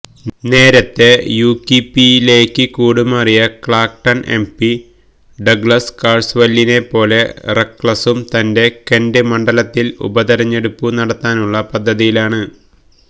നേരത്തെ യുകിപിലേക്ക് കൂടുമാറിയ ക്ലാക്ടൺ എംപി ഡഗ്ലസ് കാഴ്സവെല്ലിനെ പോലെ റെക്ലസും തന്റെ കെന്റ് മണ്ഡലത്തിൽ ഉപതെരഞ്ഞെടുപ്പു നടത്താനുള്ള പദ്ധതിയിലാണ്